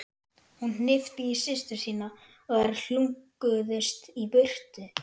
Hún hnippti í systur sína og þær hlunkuðust í burtu.